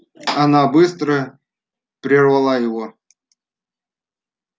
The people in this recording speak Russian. она быстро прервала его